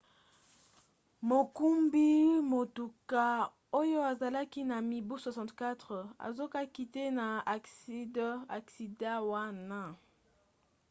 mokumbi motuka oyo azalaki na mibu 64 azokaki te na aksida wana